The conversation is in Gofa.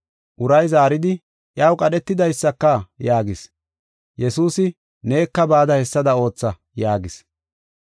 Uray zaaridi, “Iyaw qadhetidaysaka” yaagis. Yesuusi, “Neka bada hessada ootha” yaagis.